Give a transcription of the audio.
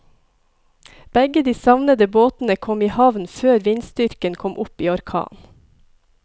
Begge de savnede båtene kom i havn før vindstyrken kom opp i orkan.